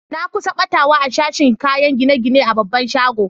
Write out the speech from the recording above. Na kusa gbatawa a sashin kayakin gine-gine a babban shagon.